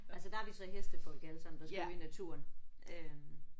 Altså der er vi så hestefolk alle sammen der skal ud i naturen øh